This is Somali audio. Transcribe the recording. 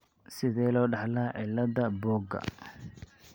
Sidee loo dhaxlaa cillada buuga?